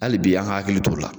Hali bi an k'an hakili t'o la